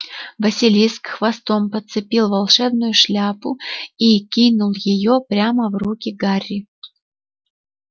василиск хвостом подцепил волшебную шляпу и кинул её прямо в руки гарри